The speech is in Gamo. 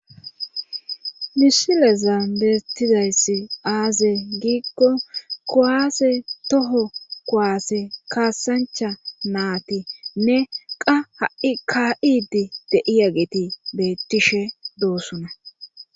misileza beettizayssi aaze giikko koaase toho koaase kaasancha naati nne qa ha7i ka7idi deiya geti bettishe doossona